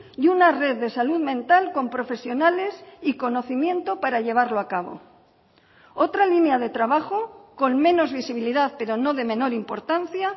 y una red de salud mental con profesionales y conocimiento para llevarlo a cabo otra línea de trabajo con menos visibilidad pero no de menor importancia